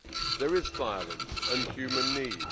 There is violence and human need.